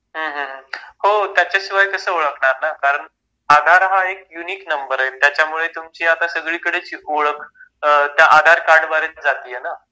हो त्याच्याशिवाय कसं ओळखणार ना आपण आधार हा एक युनिक नंबर आहे त्याच्यामुळे तुमची आता सगळीकडे ची ओळख आधार कार्ड द्वारेच जाते आहे ना